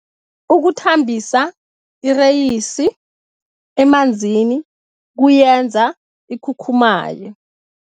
Ukuthambisa ireyisi emanzini kuyenza ikhukhumaye.